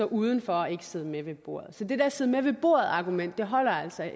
uden for og ikke sidde med ved bordet så det der sid med ved bordet argument holder altså